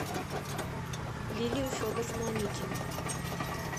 лилию федоровну аникину